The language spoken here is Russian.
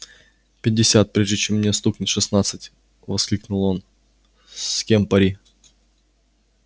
пятьдесят прежде чем мне стукнет шестнадцать воскликнул он с кем пари